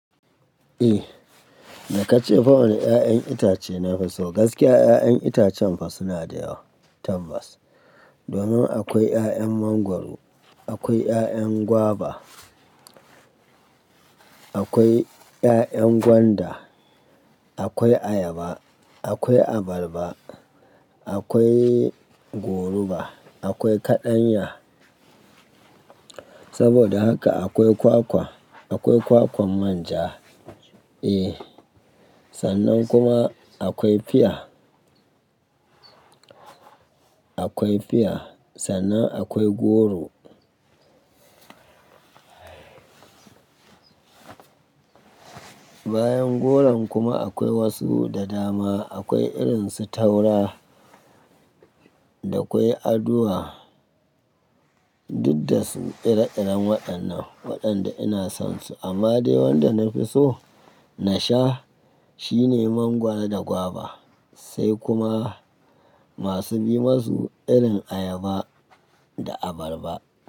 Eh, da ka ce fa wane 'ya'yan itace na fi so, gaskiya 'ya'yan itacen fa suna da yawa, tambas. Domin akwai 'ya'yan mangwaro, akwai 'ya'yan guava, akwai 'ya'yan gwanda, akwai ayaba, akwai abarba, akwai goruba, akwai kaɗanya. Saboda haka akwai kwakwa, akwai kwakwan manja. Eh, sannan kuma akwai fiya, akwai fia, sannan akwai goro. Bayan goron kuma akwai wasu da dama, akwai irin su taura da kwai aduwa, duk da su ira-iran waɗannan waɗanda ina son su. Amma dai wanda na fi so na sha shine mangwaro da guava sai kuma masu bi musu irin ayaba da abarba.